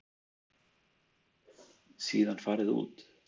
Síðan farið út.